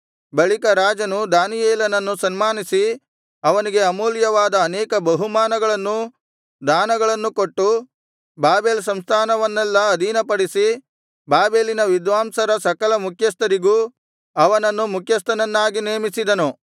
ಬಳಿಕ ರಾಜನು ದಾನಿಯೇಲನನ್ನು ಸನ್ಮಾನಿಸಿ ಅವನಿಗೆ ಅಮೂಲ್ಯವಾದ ಅನೇಕ ಬಹುಮಾನಗಳನ್ನೂ ದಾನಗಳನ್ನು ಕೊಟ್ಟು ಬಾಬೆಲ್ ಸಂಸ್ಥಾನವನ್ನೆಲ್ಲಾ ಅಧೀನಪಡಿಸಿ ಬಾಬೆಲಿನ ವಿದ್ವಾಂಸರ ಸಕಲ ಮುಖ್ಯಸ್ಥರಿಗೂ ಅವನನ್ನು ಮುಖ್ಯಸ್ಥನನ್ನಾಗಿ ನೇಮಿಸಿದನು